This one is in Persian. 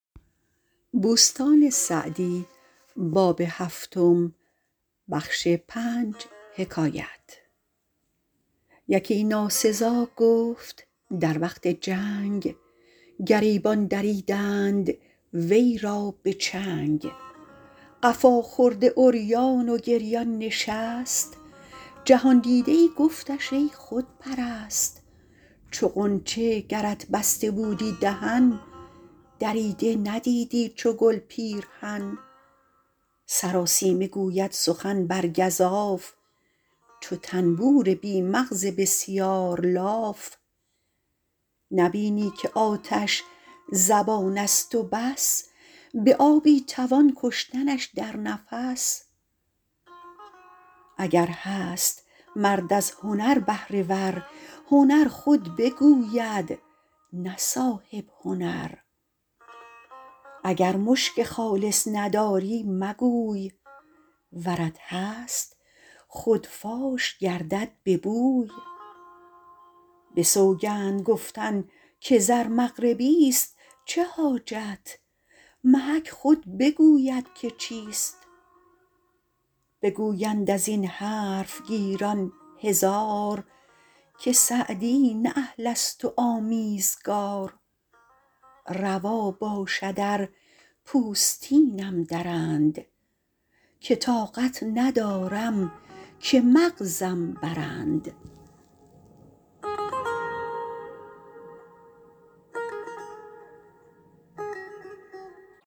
یکی ناسزا گفت در وقت جنگ گریبان دریدند وی را به چنگ قفا خورده عریان و گریان نشست جهاندیده ای گفتش ای خودپرست چو غنچه گرت بسته بودی دهن دریده ندیدی چو گل پیرهن سراسیمه گوید سخن بر گزاف چو طنبور بی مغز بسیار لاف نبینی که آتش زبان است و بس به آبی توان کشتنش در نفس اگر هست مرد از هنر بهره ور هنر خود بگوید نه صاحب هنر اگر مشک خالص نداری مگوی ورت هست خود فاش گردد به بوی به سوگند گفتن که زر مغربی است چه حاجت محک خود بگوید که چیست بگویند از این حرف گیران هزار که سعدی نه اهل است و آمیزگار روا باشد ار پوستینم درند که طاقت ندارم که مغزم برند